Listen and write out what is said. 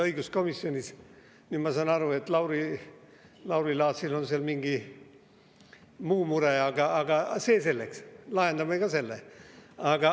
Nüüd ma saan aru, et Lauri Laatsil on seal mingi muu mure, aga see selleks, lahendame ka selle.